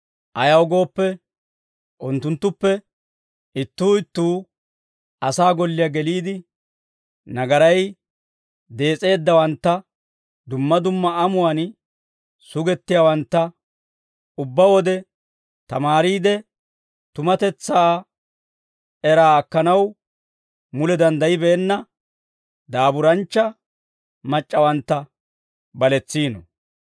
Ayaw gooppe, unttunttuppe ittuu ittuu asaa golliyaa geliide, nagaray dees'eeddawantta, dumma dumma amuwaan sugettiyaawantta, ubbaa wode tamaariide, tumatetsaa era akkanaw mule danddayibeenna daaburanchcha mac'c'awantta baletsiino.